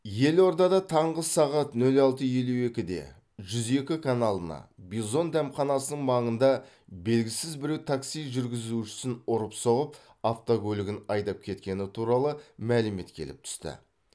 елордада таңғы сағат нөл алты елу екіде жүз екі каналына бизон дәмханасының маңында белгісіз біреу такси жүргізушісін ұрып соғып автокөлігін айдап кеткені туралы мәлімет келіп түсті